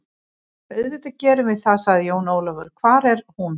Auðvitað gerum við það, sagði Jón Ólafur, hvar er hún?